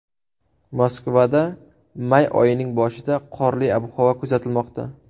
Moskvada may oyining boshida qorli ob-havo kuzatilmoqda.